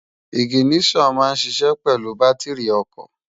Iginiṣòn má n ṣiṣè pèlú bàtirí òkò